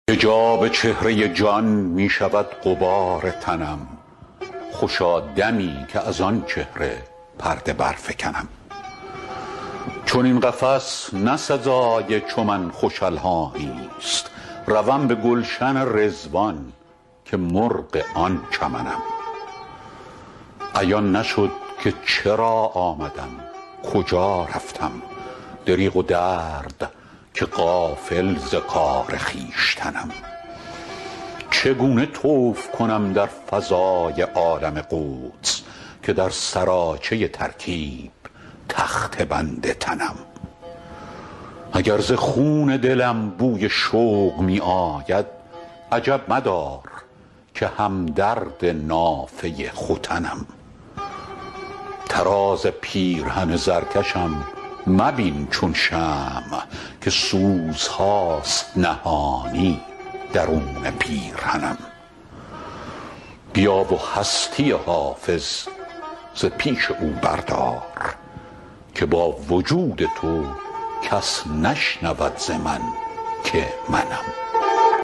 حجاب چهره جان می شود غبار تنم خوشا دمی که از آن چهره پرده برفکنم چنین قفس نه سزای چو من خوش الحانی ست روم به گلشن رضوان که مرغ آن چمنم عیان نشد که چرا آمدم کجا رفتم دریغ و درد که غافل ز کار خویشتنم چگونه طوف کنم در فضای عالم قدس که در سراچه ترکیب تخته بند تنم اگر ز خون دلم بوی شوق می آید عجب مدار که هم درد نافه ختنم طراز پیرهن زرکشم مبین چون شمع که سوزهاست نهانی درون پیرهنم بیا و هستی حافظ ز پیش او بردار که با وجود تو کس نشنود ز من که منم